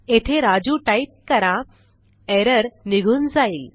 येथे राजू टाईप करा एरर निघून जाईल